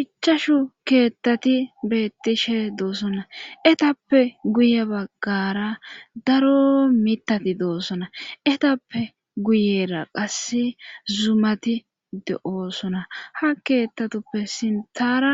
Ichashu keettati beettishe doosonna etappe guye baggara daro mitati doosona etappe guyera qase zumati de7oosona ha keettatuppe sintara